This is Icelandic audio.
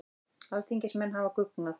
Alþingismenn hafa guggnað